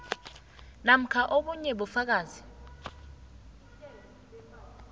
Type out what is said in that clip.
namkha obunye ubufakazi